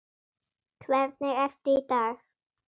Hvernig ertu í dag?